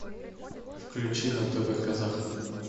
включи на тв казах